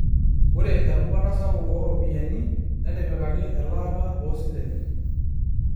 Ore erubata sapuk ooropiyiani netipikaki elaata oosilen.